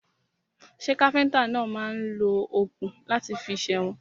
Ṣẹ́ káfíntà náà máà ń lo òkun láti fi sèwọ̀n?